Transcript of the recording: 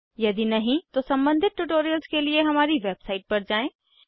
यदि नहीं तो सम्बंधित ट्यूटोरियल्स के लिए हमारी वेबसाइट पर जाएँ